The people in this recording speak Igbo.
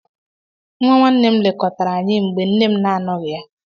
Nwa nwanne m lekọtara anyị mgbe nne m na-anọghị ya